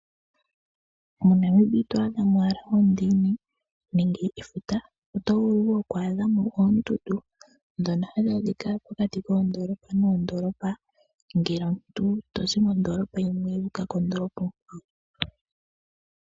MoNamibia ito adha oonduli owala nenge efuta oto vulu wo oku adha mo oondundu ndhono hadhi adhika pokati koondolopa noondoolopa ngele omuntu tozi mondoolopa yimwe wuuka kondoolopa onkwawo.